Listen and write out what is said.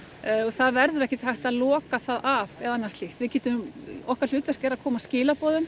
það verður ekkert hægt að loka það af eða annað slíkt okkar hlutverk er að koma skilaboðum